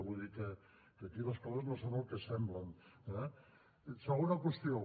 vull dir que aquí les coses no són el que semblen eh segona qüestió